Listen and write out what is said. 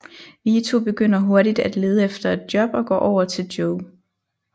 Vito begynder hurtigt at lede efter et job og går over til Joe